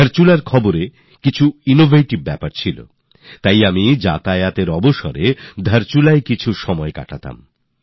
ধারচুলার খবর আমার দৃষ্টি এইজন্য আকর্ষণ করেছিল যে কখনও আমি আসা যাওয়ার পথে ধারচুলায় থেকে যেতাম